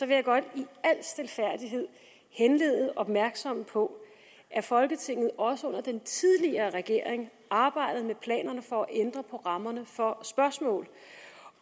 jeg godt i al stilfærdighed henlede opmærksomheden på at folketinget også under den tidligere regering arbejdede med planerne for at ændre på rammerne for spørgsmål